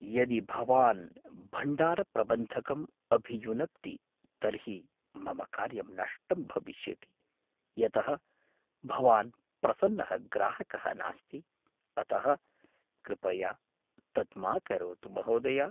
यदि भवान् भण्डारप्रबन्धकम् अभियुनक्ति तर्हि मम कार्यं नष्टम् भविष्यति यतः भवान् प्रसन्नः ग्राहकः नास्ति, अतः कृपया तत् मा करोतु, महोदय।